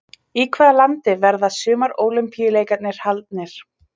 Í hvaða landi verða sumar ólympíuleikarnir haldnir?